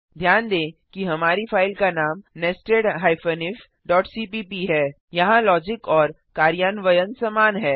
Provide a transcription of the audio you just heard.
ध्यान दें कि हमारी फाइल का नाम nested ifसीपीप है यहाँ लॉजिक और कार्यान्वयन समान है